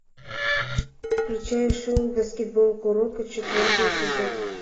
включай шоу баскетбол куроко четвертый эпизод